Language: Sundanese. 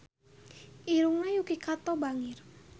Irungna Yuki Kato bangir